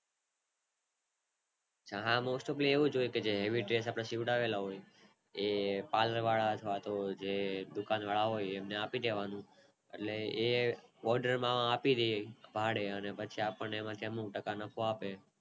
હા most topali એવું હોય છે જે Heavy ડ્રેસ આપડે જે સીવરેલાં હોય છે એ પાલર વાળા અથવા તો દુકાન વાળા હોય તેમને આપી દેવાના એટલે એ Odair માં આપી દેય ભાડે અને આપણે એમાંથી અમુક ટકા નફો આપે